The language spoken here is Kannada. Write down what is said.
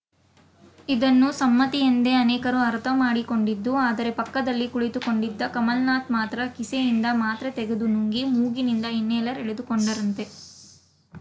ಇದನ್ನು ಸಮ್ಮತಿ ಎಂದೇ ಅನೇಕರು ಅರ್ಥ ಮಾಡಿಕೊಂಡಿದ್ದು ಆದರೆ ಪಕ್ಕದಲ್ಲಿ ಕುಳಿತುಕೊಂಡಿದ್ದ ಕಮಲ್‌ನಾಥ ಮಾತ್ರ ಕಿಸೆಯಿಂದ ಮಾತ್ರೆ ತೆಗೆದು ನುಂಗಿ ಮೂಗಿನಿಂದ ಇನ್ಹೇಲರ್‌ ಎಳೆದುಕೊಂಡರಂತೆ